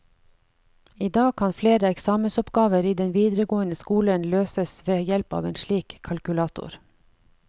I dag kan flere eksamensoppgaver i den videregående skolen løses ved hjelp av en slik kalkulator.